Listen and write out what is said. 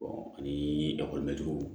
ani